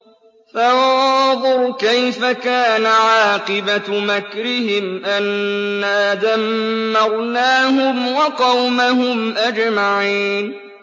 فَانظُرْ كَيْفَ كَانَ عَاقِبَةُ مَكْرِهِمْ أَنَّا دَمَّرْنَاهُمْ وَقَوْمَهُمْ أَجْمَعِينَ